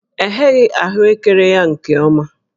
E gheghị ahụekere ya nke ọma